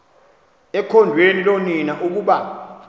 ekhondweni loonina ukuba